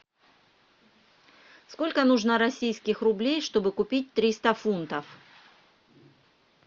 сколько нужно российских рублей чтобы купить триста фунтов